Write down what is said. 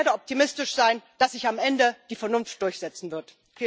Und ich werde optimistisch sein, dass sich am Ende die Vernunft durchsetzen wird.